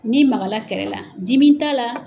Ni magala kɛrɛ la dimi t'a la.